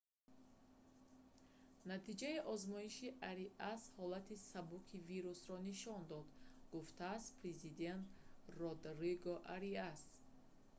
натиҷаи озмоиши ариас ҳолати сабуки вирусро нишон дод гуфтааст президент родриго ариас